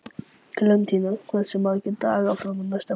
Klementína, hversu margir dagar fram að næsta fríi?